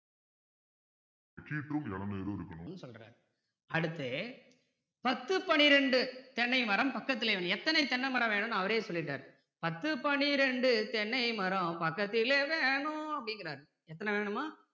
இருநூறு இருக்கணும் சொல்றேன் அடுத்து பத்து பன்னிரண்டு தென்னை மரம் பக்கத்துல வேணும் எத்தனை தென்னை மரம் வேணும்னு அவறே சொல்லிட்டாரு பத்து பன்னிரண்டு தென்னை மரம் பக்கத்திலே வேணும் அப்படிங்கிறாரு எத்தனை வேணுமா